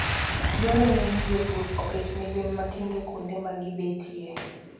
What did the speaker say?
Dwarore ni jopur oket ne gwen matindo kuonde ma gibetie.